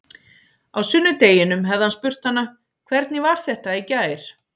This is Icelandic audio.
Á sunnudeginum hefði hann spurt hana: Hvernig var þetta í gær?